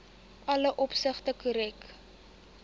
alle opsigte korrek